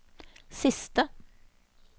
siste